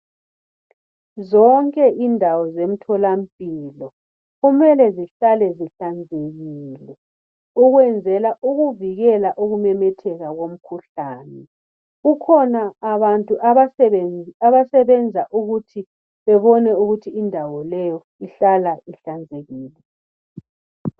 Zonke indawo zemtholampilo kumele zihlale zihlanzekile . Ukwenzela ukuvikela ukumemetheka komkhuhlane . Kukhona abantu abasebenza ukuthi bebone ukuthi indawo leyo ihlala ihlanzekile.